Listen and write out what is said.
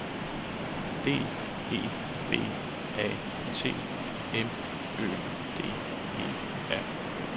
D E B A T M Ø D E R